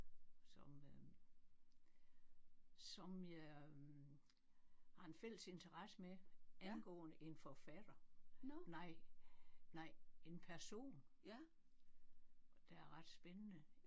Som øh som jeg har en fælles interesse med angående en forfatter nej nej en person der er ret spændende